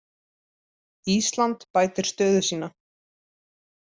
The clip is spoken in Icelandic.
Ísland bætir stöðu sína